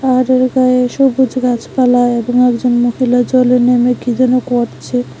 পাহাড়ের গায়ে সবুজ গাছপালা এবং একজন মহিলা জলে নেমে কি যেন করছে।